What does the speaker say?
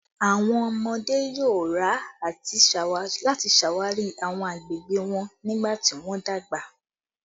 Awọn ọmọde yoo ra ati ṣawari awọn agbegbe wọn nigbati wọn dagba